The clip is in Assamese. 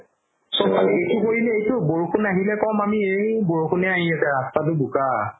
চবফালে এইটো কৰিলে এইটো বৰষুণ আহিলে কম আমি এই বৰষুণে আহি আছে ৰাস্তাতো বোকা